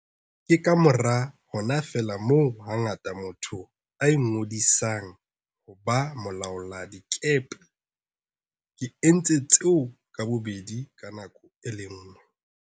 Ke kamora hona feela moo hangata motho a ingodisang ho ba molaoladikepe. Ke entse tseo ka bobedi ka nako e le nngwe.